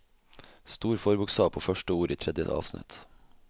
Stor forbokstav på første ord i tredje avsnitt